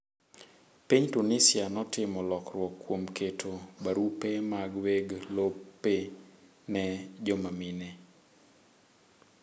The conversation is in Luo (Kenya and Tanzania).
Piny Tunisia notimo lokruok kuom keto barupe mag weg lope ne jomamine.